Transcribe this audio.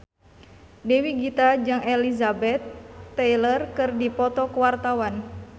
Dewi Gita jeung Elizabeth Taylor keur dipoto ku wartawan